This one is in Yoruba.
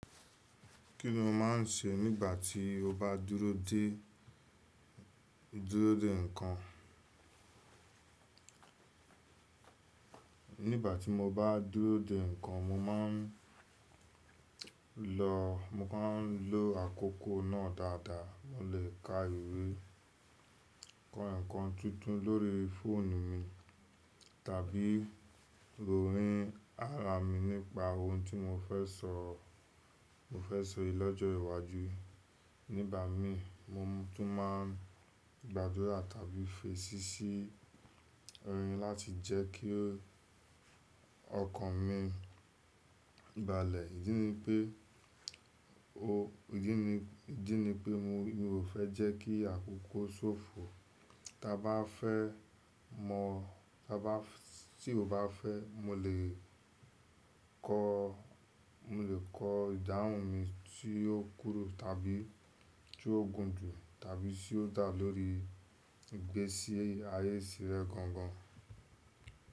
Kiní o máa ń ṣe nígbà tí o bá dúró dè, dúró dè ǹkan? Nígbà tí mo bá dúró dè ǹkan, mo máa ń lọ, mo kàn ń lo àkókò náà dáadáa. Mo lè ka ìwé, kọ ǹkan tuntun lórí fóònù mi, tàbí rorì ara mi nípa ohun tí mo fẹ́ sọ, mo fẹ́ ṣe lọ́jọ́ iwájú. Nígbà mii mo tún máa ń gbàdúrà tàbí fèsì sí orin láti jẹ́ kí ọkàn mi balẹ̀. Ídí ni pé o, ìdí ni, ìdí ni pé mi ò fẹ́ jẹ́ kí àkókò ṣófo. Ta bá fẹ́, mo, ta ba fs, tí o bá fẹ́ mo lè kọ, mo lè kọ ìdáhùn mi tí ó kúru tàbí tí ó gùn jù tàbí tí ó dà lórí ìgbésí ayé sílẹ̀ gangan.